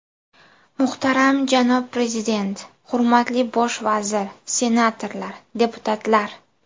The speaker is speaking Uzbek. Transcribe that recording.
Muhtaram janob Prezident, hurmatli bosh vazir, senatorlar, deputatlar!